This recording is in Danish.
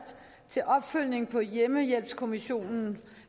til opfølgning på hjemmehjælpskommissionens